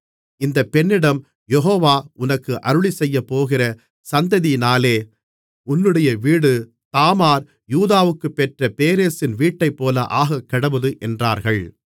இந்தப் பெண்ணிடம் யெகோவா உனக்கு அருளிச்செய்யப்போகிற சந்ததியினாலே உன்னுடைய வீடு தாமார் யூதாவுக்குப் பெற்ற பேரேசின் வீட்டைப்போல ஆகக்கடவது என்றார்கள்